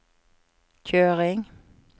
kjøring